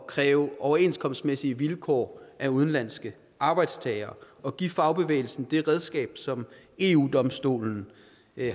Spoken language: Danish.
kræve overenskomstmæssige vilkår af udenlandske arbejdstagere og give fagbevægelsen det redskab som eu domstolen